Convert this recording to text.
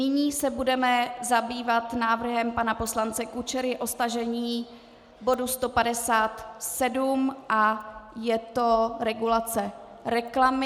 Nyní se budeme zabývat návrhem pana poslance Kučery na stažení bodu 157 a je to regulace reklamy.